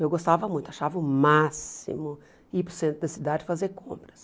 Eu gostava muito, achava o máximo ir para o centro da cidade fazer compras.